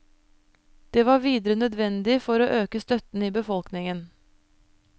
Det var videre nødvendig for å øke støtten i befolkningen.